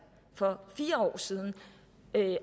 for fire år siden